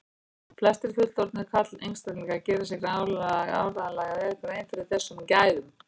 flestir fullorðnir einstaklingar gera sér áreiðanlega vel grein fyrir þessum gæðum